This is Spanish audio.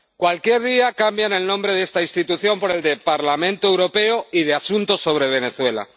Cualquier día cambian el nombre de esta institución por el de Parlamento Europeo y de Asuntos sobre Venezuela.